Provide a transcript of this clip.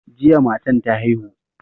Jiya matan ta haihu.